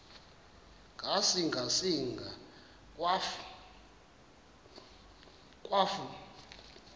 ngasinga singa akwafu